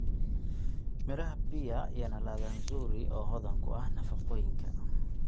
Miraha pear yana ladha nzuri oo hodan ku ah nafaqooyinka.